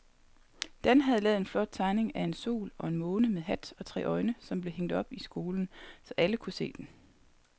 Dan havde lavet en flot tegning af en sol og en måne med hat og tre øjne, som blev hængt op i skolen, så alle kunne se den.